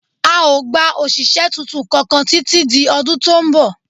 A ò gba òṣìṣẹ́ tuntun kankan títí di ọdún tó ń bọ̀